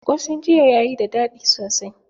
Ƙosan jiya yayi da daɗi sosai.